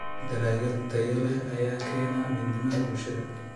Dalagyo tayo leh ayaa keena midnimada bulshada.